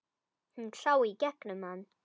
Hún sá í gegnum hann.